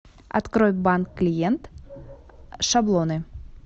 открой банк клиент шаблоны